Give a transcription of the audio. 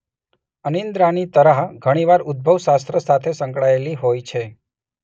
અનિદ્રાની તરાહ ઘણી વાર ઉદભવશાસ્ત્ર સાથે સંકળાયેલી હોય છે.